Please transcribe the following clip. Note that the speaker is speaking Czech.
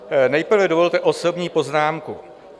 Nejprve dovolte osobní poznámku.